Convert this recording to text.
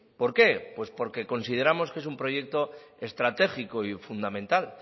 por qué pues porque consideramos que es un proyecto estratégico y fundamental